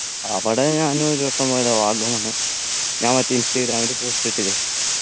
അവിടെ ഞാൻ ഒരുവട്ടം പോയതാ വാഗമണ് ഞാൻ മറ്റേ ഇൻസ്റ്റഗ്രാമില് post ഇട്ടിന്